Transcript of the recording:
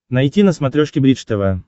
найти на смотрешке бридж тв